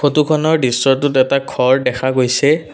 ফটোখনৰ দৃশ্যটোত এটা ঘৰ দেখা গৈছে।